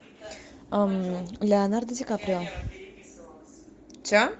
леонардо ди каприо